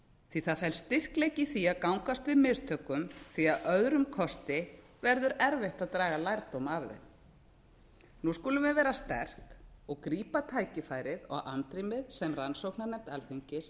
því að það felst styrkleiki í því að gangast við mistökum því að öðrum kosti verður erfitt að draga lærdóma af þeim nú skulum við vera sterk og grípa tækifærið og andrýmið sem rannsóknarnefnd alþingis